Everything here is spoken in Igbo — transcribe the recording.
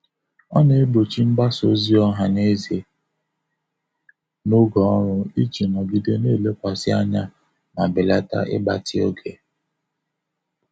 Ọ na-egbochi mgbasa ozi ọha na eze n'oge ọrụ iji nogide na-elekwasị anya ma belata ịgbatị oge.